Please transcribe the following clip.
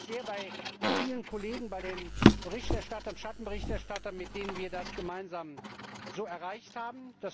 Ich bedanke mich sehr bei vielen Kollegen, bei den Berichterstattern und Schattenberichterstattern, mit denen wir das gemeinsam so erreicht haben.